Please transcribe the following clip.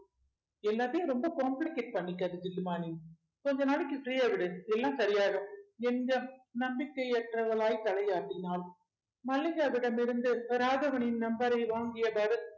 எல்லாத்தையும் ரொம்ப complicate பண்ணிக்காத நீ கொஞ்ச நாளைக்கு free ஆ விடு எல்லாம் சரியாயிடும் என்க நம்பிக்கை அற்றவளாய் தலையாட்டினாள் மல்லிகாவிடம் இருந்து வராதவனின் number அ வாங்கிய பரத்